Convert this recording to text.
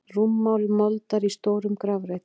Rúmmál moldar í stórum grafreit.